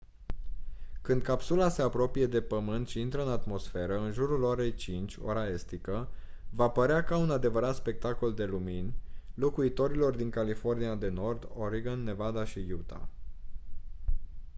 când capsula se apropie de pământ și intră în atmosferă în jurul orei 5:00 ora estică va părea ca un adevărat spectacol de lumini locuitorilor din california de nord oregon nevada și utah